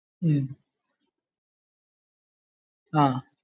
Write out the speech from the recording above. ഉം ആഹ്